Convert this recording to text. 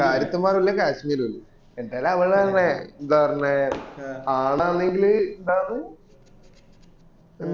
കാശ്മീരും ഇല്ല എന്നിട്ടല്ലേ അവള് പറഞ്ഞെ എന്താ പറഞ്ഞെ അന്നെങ്കിൽ എന്താന്നു